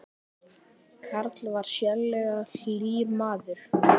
Karl var sérlega hlýr maður.